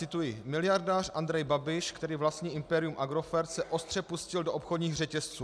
Cituji: Miliardář Andrej Babiš, který vlastní impérium Agrofert, se ostře pustil do obchodních řetězců.